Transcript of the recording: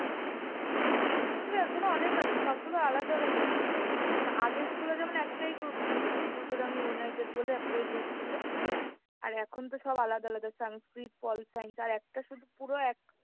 আমাদের এখনো অনেক আছে সবগুলা আলাদা আলাদা তো। আগের school এ যেমন একটাই group ছিল Ultodanga United বলে একটাই group ছিল। আর এখনতো সব আলাদা আলাদা Sanskrit, পল science আর একটা শুধু পুরো এক ,